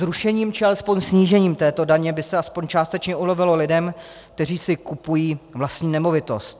Zrušením, či alespoň snížením této daně by se aspoň částečně ulevilo lidem, kteří si kupují vlastní nemovitost.